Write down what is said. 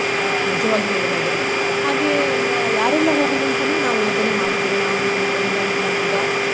ಅಹ್ ನಿಜವಾಗಿ ಹೇಳುವುದಾದ್ರೆ ಹಾಗೆ ಯಾರೆಲ್ಲ ಹೋಗುವುದಂತನೂ ನಾವು ಯೋಜನೆ ಮಾಡಿದ್ದೇವೆ ನಾನು, ನನ್ನ ಗಂಡ, ನನ್ನ ಮಗ.